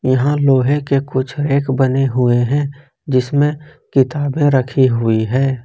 यहां लोहे के कुछ रैक बने हुए हैं जिसमें किताबें रखी हुई है।